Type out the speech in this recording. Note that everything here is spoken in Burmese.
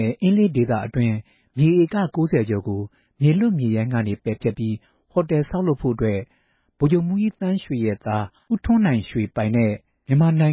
င့် အင်းလေးကန်ဒေသက မြေဧက ၉ဝ ကျော်ကို မြေလွတ်မြေရိုင်းအဖြစ် သတ်မှတ်ပေးပြီး ဟိုတယ် ဆောက်လုပ်ဖို့ ဗိုလ်ချုပ်မှူးကြီးသန်းရွှေရဲ့သားဖြစ်သူပိုင် “မြန်မာနိုင်